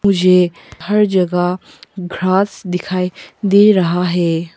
मुझे हर जगह घास दिखाई दे रहा है।